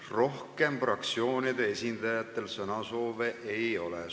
Rohkem fraktsioonide esindajatel sõnasoove ei ole.